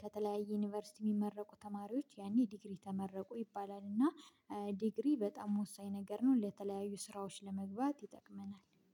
ከተለያዩ ዩኒቨርሲቲ የሚመረቁ ተማሪዎች ያኔ ዲግሪ ተመረቁ ይባላል እና ዲግሪ በጣም ወሳኝ ነገር ነው ለተለያዩ ስራዎች ለመግባት ይጠቅመናል።